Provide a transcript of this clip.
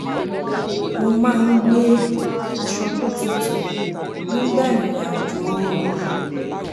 mo máa ń gbé aṣọ tó tutù nígbà ìrìn àjò ooru